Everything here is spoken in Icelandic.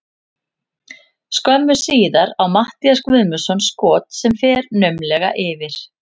Skömmu síðar á Matthías Guðmundsson skot sem fer naumlega yfir.